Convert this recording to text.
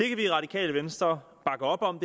kan vi i radikale venstre bakke op om